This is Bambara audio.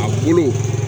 A bolo